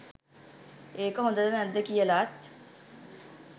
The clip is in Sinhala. ඒක හොඳද නැද්ද කියලත්